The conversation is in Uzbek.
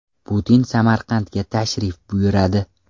Putin Samarqandga tashrif buyuradi.